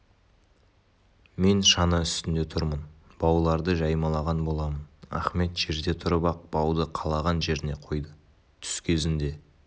мен шана үстінде тұрмын бауларды жаймалаған боламын ахмет жерде тұрып-ақ бауды қалаған жеріне қойды түс кезінде